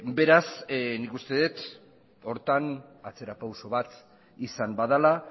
beraz nik uste dut horretan atzera pauso bat izan badela